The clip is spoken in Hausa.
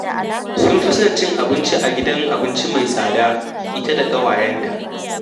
Sun fi son cin abinci a gidan abinci mai tsada ita da ƙawayenta